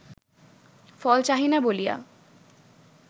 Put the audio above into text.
ফল চাহি না বলিয়া